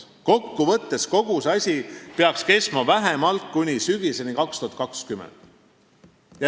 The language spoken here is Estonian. Kogu see asi peaks kestma vähemalt kuni sügiseni 2020.